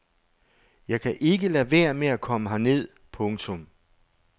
Jeg kan ikke lade være med at komme herned. punktum